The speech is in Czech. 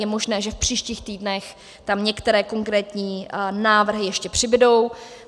Je možné, že v příštích týdnech tam některé konkrétní návrhy ještě přibudou.